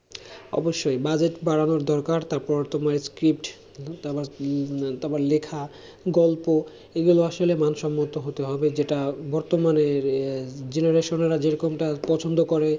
অবশ্যই budget বাড়ানো দরকার তারপর তোমার script তারপর উম তারপর লেখা গল্প এগুলো আসলে মান সম্মত হতে হবে যেটা বর্তমানের এ generation রা যেরকমটা পছন্দ করে।